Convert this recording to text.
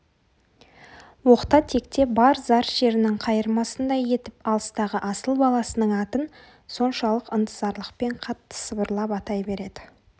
оқта-текте бар зар шерінің қайырмасындай етіп алыстағы асыл баласының атын соншалық ынтызарлықпен қатты сыбырлап атай береді